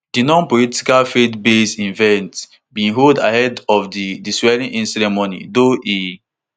di nonpolitical faithbased event bin hold ahead of di di swearingin ceremony though e